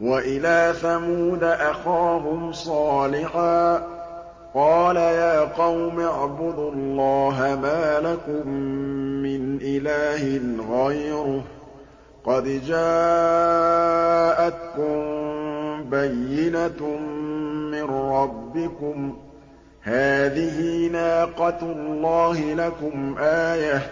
وَإِلَىٰ ثَمُودَ أَخَاهُمْ صَالِحًا ۗ قَالَ يَا قَوْمِ اعْبُدُوا اللَّهَ مَا لَكُم مِّنْ إِلَٰهٍ غَيْرُهُ ۖ قَدْ جَاءَتْكُم بَيِّنَةٌ مِّن رَّبِّكُمْ ۖ هَٰذِهِ نَاقَةُ اللَّهِ لَكُمْ آيَةً ۖ